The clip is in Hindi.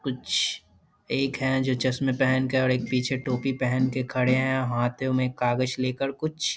कुछ एक है जो चश्मे पहन कर एक पीछे टोपी पहन के खड़े हैं और हाथों में कागज ले कर कुछ --